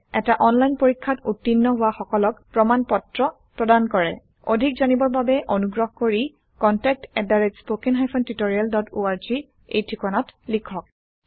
এটা অনলাইন পৰীক্ষাত উত্তীৰ্ণ হোৱা সকলক প্ৰমাণ পত্ৰ প্ৰদান কৰে অধিক জানিবৰ বাবে অনুগ্ৰহ কৰি contactspoken tutorialorg এই ঠিকনাত লিখক